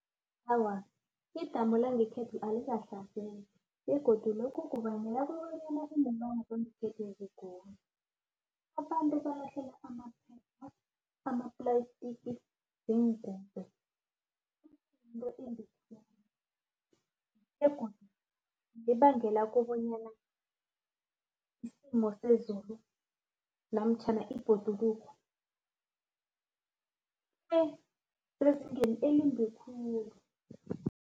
Awa, idamu langekhethu alikahlanzeki begodu